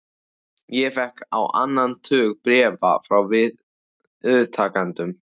Ég fékk á annan tug bréfa frá viðtakendum.